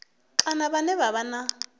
kana vhane vha vha na